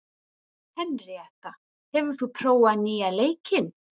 Henríetta, hefur þú prófað nýja leikinn?